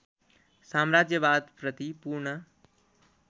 साम्राज्यवादप्रति पूर्ण